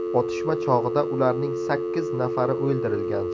Otishma chog‘ida ularning sakkiz nafari o‘ldirilgan.